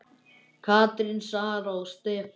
Katrín, Sara og Stefán.